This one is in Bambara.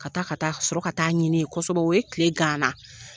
Ka taa ka taa ka sƆrƆ ka taa ɲini yen kosƐbƐ o ye tile gan an na